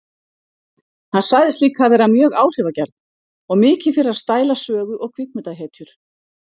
Hann sagðist líka vera mjög áhrifagjarn og mikið fyrir að stæla sögu- og kvikmyndahetjur.